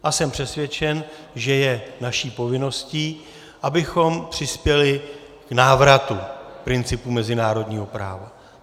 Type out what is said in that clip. A jsem přesvědčen, že je naší povinností, abychom přispěli k návratu principu mezinárodního práva.